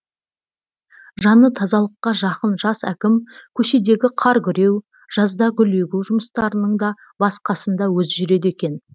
жаны тазалыққа жақын жас әкім көшедегі қар күреу жазда гүл егу жұмыстарының да бас қасында өзі жүреді екен